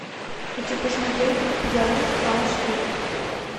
хочу посмотреть пьянь аш ди